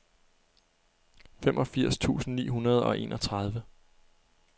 femogfirs tusind ni hundrede og enogtredive